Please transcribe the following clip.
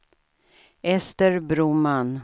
Ester Broman